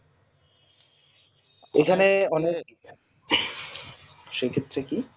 এখানে সুচিত্রে কি